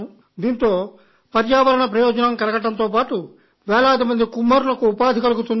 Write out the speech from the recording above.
దీంతో పర్యావరణ ప్రయోజనం కలగడంతో పాటు వేలాది కుమ్మరులకు ఉపాధి కలుగుతుంది